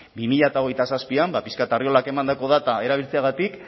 bi mila hogeita zazpian pixka bat arriolak emandako data erabiltzeagatik